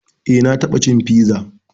Eh na taɓa cin piza